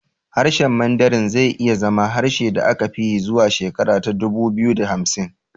Harshen Mandarin zai iya zama harshen da aka fi yi zuwa shekara ta dubu biyu da hamsin